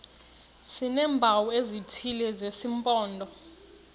sineempawu ezithile zesimpondo